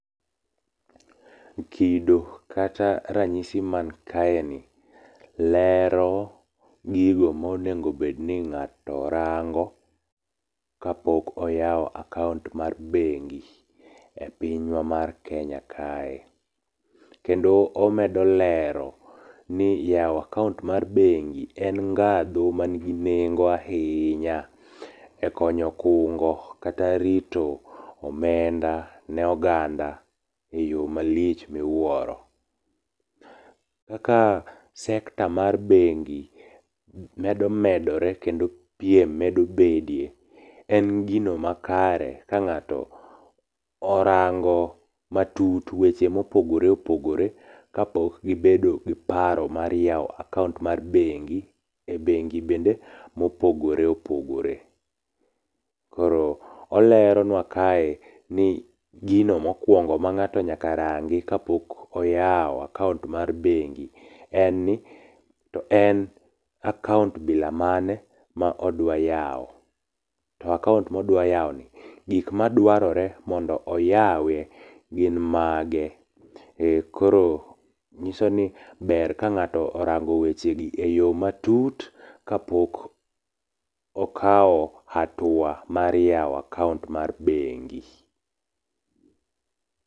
Kido kata ranyisi man kaeni lero gigo monego bed ni ng'ato rango kapok oyawo akaont mar bengi e pinywa mar Kenya kae. Kendo omedo lero ni yawo akaont mar bengi en ngadhu mangi nengo ahinya ekonyo kungo kata rito omenda ne oganda eyo malich miwuoro. Kaka sector mar bengi medo medore kendo piem medo bede, en gino makare ka ng'ato orango matut weche mopogore opogore kapok gibedo gi paro mar yawo akaont mar bengi, e bengi bende mopogore opogore. Koro oleronua kae ni gino mokuongo ma ng'ato nyaka rangi kapok oyawo akaont mar bengi ni to en akaont mane modwa yawo to akaont modwa yawoni gik madwarore mondo oyawe gin mage. E koro nyiso ni ber ka ng'ato orango weche gi matut kapok okawo atua mar yawo akaont mar bengi.